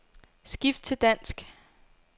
Skift til dansk.